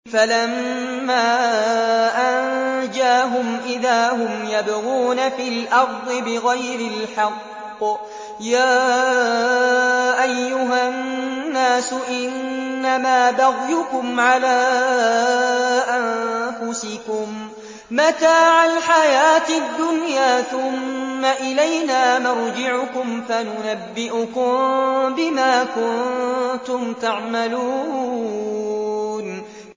فَلَمَّا أَنجَاهُمْ إِذَا هُمْ يَبْغُونَ فِي الْأَرْضِ بِغَيْرِ الْحَقِّ ۗ يَا أَيُّهَا النَّاسُ إِنَّمَا بَغْيُكُمْ عَلَىٰ أَنفُسِكُم ۖ مَّتَاعَ الْحَيَاةِ الدُّنْيَا ۖ ثُمَّ إِلَيْنَا مَرْجِعُكُمْ فَنُنَبِّئُكُم بِمَا كُنتُمْ تَعْمَلُونَ